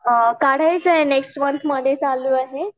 अ काढायचं आहे नेक्स्ट मन्थमध्ये चालू आहे.